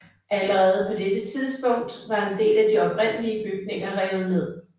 Allerede på dette tidspunkt var en del af de oprindelige bygninger revet ned